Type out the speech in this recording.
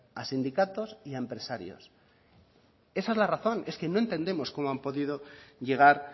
a sindicatos y a empresarios esa la razón es que no entendemos cómo han podido llegar